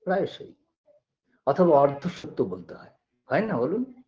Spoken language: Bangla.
প্রায়শই অথবা অর্ধসত্য বলতে হয় হয় না বলুন